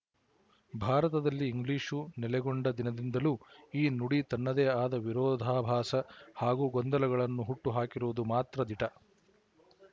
ಭಾರತದಲ್ಲಿ ಇಂಗ್ಲಿಶು ನೆಲೆಗೊಂಡ ದಿನದಿಂದಲೂ ಈ ನುಡಿ ತನ್ನದೇ ಆದ ವಿರೋಧಾಭಾಸ ಹಾಗೂ ಗೊಂದಲಗಳನ್ನು ಹುಟ್ಟು ಹಾಕಿರುವುದು ಮಾತ್ರ ದಿಟ